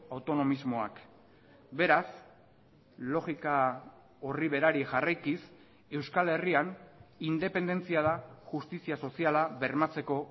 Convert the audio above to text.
autonomismoak beraz logika horri berari jarraikiz euskal herrian independentzia da justizia soziala bermatzeko